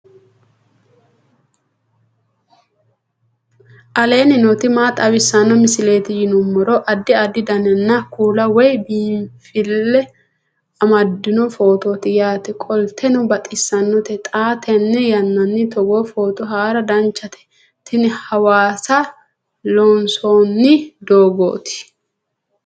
aleenni nooti maa xawisanno misileeti yinummoro addi addi dananna kuula woy biinfille amaddino footooti yaate qoltenno baxissannote xa tenne yannanni togoo footo haara danchate tini hawasa loonsoonni doogooti